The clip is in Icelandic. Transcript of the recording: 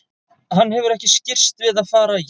Hann hefur ekki skirrst við að fara í hana.